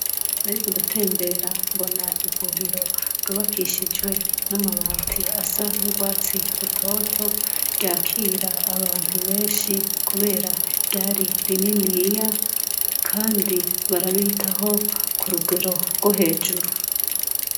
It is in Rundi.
nariko ndatembera mbona iburiro byubakishijwe n'amabati asa n'urwatsi rutoto ryakira abantu benshi kubera byari rininiya kandi barabitaho ku rugero rwo hejuru